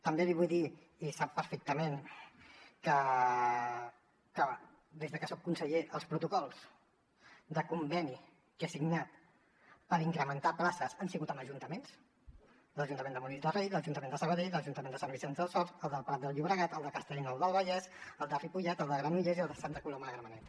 també li vull dir i sap perfectament que des que soc conseller els protocols de conveni que he signat per incrementar places han sigut amb ajuntaments l’ajuntament de molins de rei l’ajuntament de sabadell l’ajuntament de sant vicenç dels horts el del prat del llobregat el de castellnou del vallès el de ripollet el de granollers i el de santa coloma de gramenet